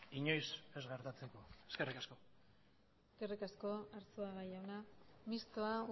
inoiz ez gertatzeko eskerrik asko eskerrik asko arzuaga jauna mistoa